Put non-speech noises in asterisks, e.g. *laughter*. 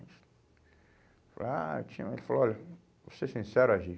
*unintelligible* Ele falou, olha, vou ser sincero, á gê.